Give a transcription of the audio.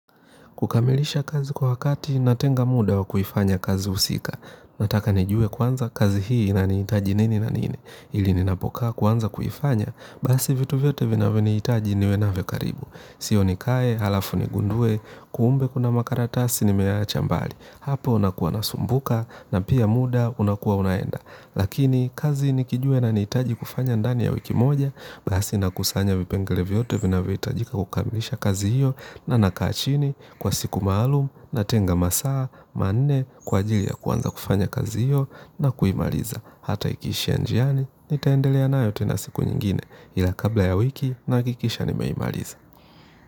Kukamilisha kazi kwa wakati natenga muda wa kuifanya kazi husika, nataka nijue kwanza kazi hii ina niitaji nini na nini, ili ninapokaa kuanza kuifanya, basi vitu vyote vinavyo niitaji niwe navyo karibu. Sio nikae, halafu nigundue, kuumbe kuna makaratasi ni meachambali. Hapo nakuwa nasumbuka na pia muda unakuwa unaenda. Lakini kazi nikijua ina nihitaji kufanya ndani ya wiki moja. Basi nakusanya vipengele vyote vina vohitajika kukamilisha kazi hiyo. Na nakaa chini kwa siku maalum na tenga masaa, manne kwa ajili ya kuanza kufanya kazi hiyo na kuimaliza. Hata ikiisha njiani, nitaendelea nayo tena siku nyingine. Hila kabla ya wiki nahakikisha nimeimaliza.